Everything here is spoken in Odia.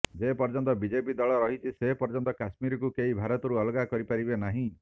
ଯେ ପର୍ଯ୍ୟନ୍ତ ବିଜେପି ଦଳ ରହିଛି ସେ ପର୍ଯ୍ୟନ୍ତ କାଶ୍ମୀରକୁ କେହି ଭାରତରୁ ଅଲଗା କରି ପାରିବେ ନାହିଁ